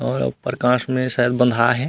और अ प्रकाश में शायद बँधाये हे।